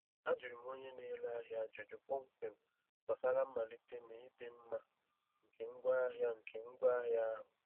Ajụrụ m onye na-ere ahịa ajụjụ kpọmkwem gbasara mmalite na ịdị mma nke ngwaahịa nke ngwaahịa ahụ.